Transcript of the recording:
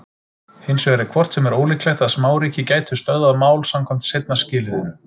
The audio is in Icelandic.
Hins vegar er hvort sem er ólíklegt að smáríki gætu stöðvað mál samkvæmt seinna skilyrðinu.